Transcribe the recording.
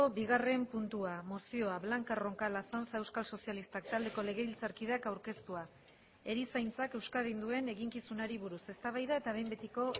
bigarren puntua mozioa blanca roncal azanza euskal sozialistak taldeko legebiltzarkideak aurkeztua erizaintzak euskadin duen eginkizunari buruz eztabaida eta behin betiko